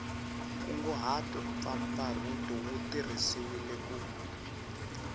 nkunguhato mpfapfarhuto wu tirhisiwile ku